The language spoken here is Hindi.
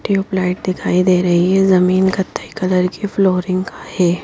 ट्यूबलाइट दिखाई दे रही है जमीन कत्थई कलर की फ्लोरिंग का है।